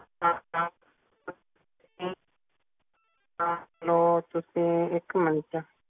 ਹਾਂ ਹਾਂ ਤੁਸੀ ਤੁਸੀ ਇੱਕ ਮਿੰਟ